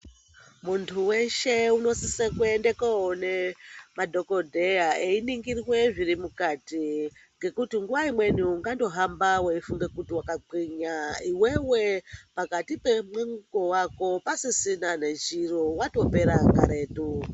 Muntu weshe unosise kuende koone madhokodheya einingirwe zviri mukati ngekuti nguwa imweni ungandohamba weifunga kuti wakagwinya iwewe pakati pemwingo wako pasisina nechiro watopera karetu.